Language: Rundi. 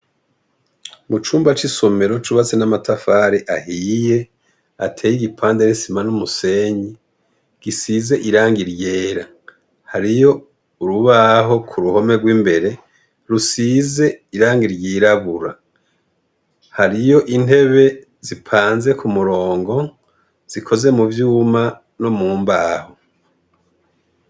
Mucumba c'isomero cubatse n'amatafari ahiye ateye igipande n'isima n'umusenyi gisize irangi ryera. Hariyo urubaho k'uruhome gw'imbere rusize irangi ryirabura, hariyo intebe zipanze k'umurongo zikoze muvyuma no mumbaho.